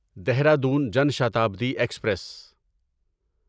Dehradun Jan Shatabdi express